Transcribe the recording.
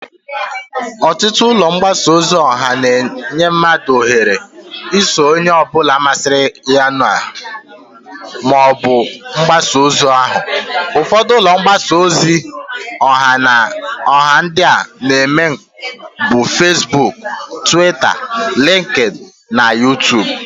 Otutu ulo mbasa ozi oha na-enye mmadu ohere iso Onye ozo obula masiriya na ya bu ulo mgbasa ozi oha. Ufodu ulo mbasaa ozi oha ndi na-eme nka bu Fesbuk, Twita, Linkin, na Yutub